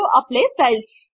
apply styles